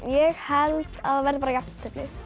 ég held að verði bara jafntefli